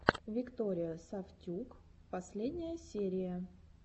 виктория сафтюк последняя серия